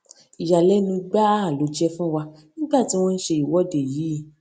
ìyàlénu gbáà ló jé fún wa nígbà tí wón ń ṣe ìwọde yìí